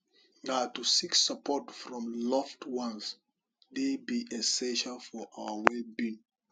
na to seek support from loved ones dey be essential for our wellbeing